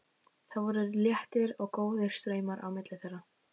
Það voru léttir og góðir straumar á milli þeirra.